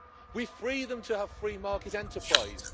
We free them to have free market enterprise.